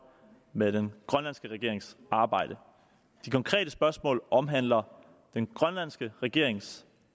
med den grønlandske regerings arbejde de konkrete spørgsmål omhandler den grønlandske regerings